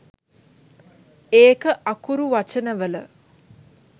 ඒක අකුරු වචන වල